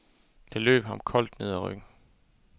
Det løb ham koldt ned ad ryggen.